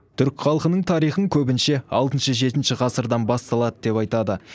түрік халқының тарихын көбінше алтыншы жетінші ғасырдан басталды деп айтады